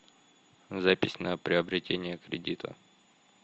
запись на приобретение кредита